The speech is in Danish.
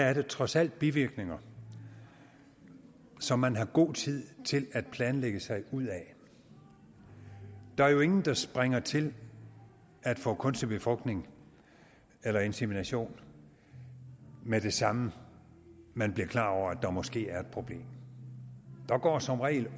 er det trods alt bivirkninger som man har god tid til at planlægge sig ud af der er jo ingen der springer til at få kunstig befrugtning eller insemination med det samme man bliver klar over at der måske er et problem der går som regel